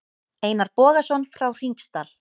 Einar Bogason frá Hringsdal.